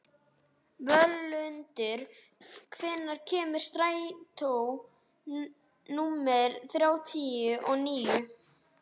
Völundur, hvenær kemur strætó númer þrjátíu og níu?